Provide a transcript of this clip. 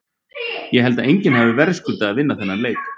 Ég held að enginn hafi verðskuldað að vinna þennan leik.